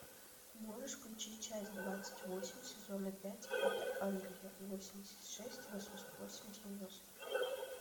можешь включить часть двадцать восемь сезона пять это англия восемьдесят шесть восемьдесят восемь девяносто